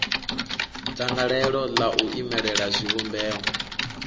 dzangalelo ḽa u imelela zwivhumbeo